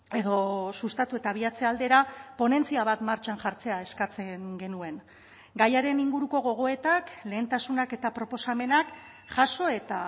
edo sustatu eta abiatze aldera ponentzia bat martxan jartzea eskatzen genuen gaiaren inguruko gogoetak lehentasunak eta proposamenak jaso eta